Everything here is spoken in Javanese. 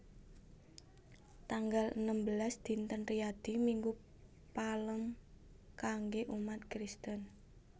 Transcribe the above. Tanggal enem belas Dinten Riyadi Minggu Palem kanggé umat Kristen